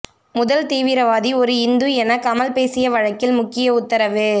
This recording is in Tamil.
முதல் தீவிரவாதி ஒரு இந்து என கமல் பேசிய வழக்கில் முக்கிய உத்தரவு